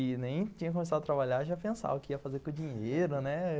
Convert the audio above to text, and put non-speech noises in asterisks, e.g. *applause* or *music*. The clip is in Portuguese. E nem tinha começado a trabalhar, já pensava o que ia fazer com o dinheiro, né? *laughs*